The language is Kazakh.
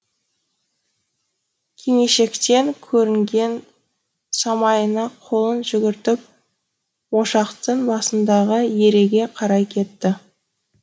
кимешектен көрінген самайына қолын жүгіртіп ошақтың басындағы ереге қарай кетті